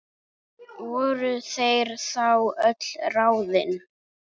Voru þetta þá öll ráðin?